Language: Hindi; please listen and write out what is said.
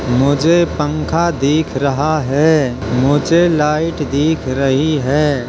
मुझे पंखा दिख रहा है। मुझे लाइट दिख रही है।